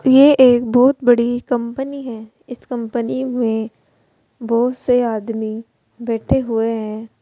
ये एक बहोत बड़ी कंपनी है इस कंपनी में बहोत से आदमी बैठे हुए हैं।